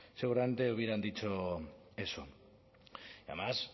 seguramente hubieran dicho eso y además